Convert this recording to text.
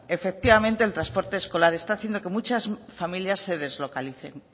efectivamente el transporte escolar está haciendo que muchas familias se deslocalicen